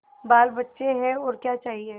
बालबच्चे हैं और क्या चाहिए